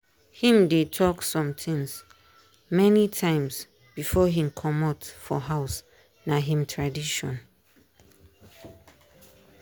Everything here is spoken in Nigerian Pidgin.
him dey talk some things many times before him commot for house na him tradition.